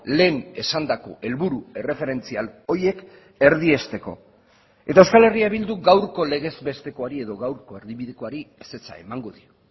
lehen esandako helburu erreferentzial horiek erdiesteko eta euskal herria bilduk gaurko legezbestekoari edo gaurko erdibidekoari ezetza emango dio